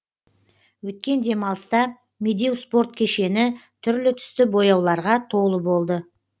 өткен демалыста медеу спорт кешені түрлі түсті бояуларға толы болды